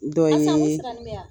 Dɔ ye